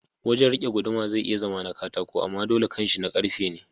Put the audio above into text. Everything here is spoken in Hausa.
Wajan rike guduma zai iya zama katako amma dole kanshi na karfe ne.